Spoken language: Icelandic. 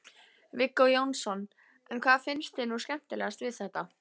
Viggó Jónsson: En hvað finnst þér nú skemmtilegast við þetta?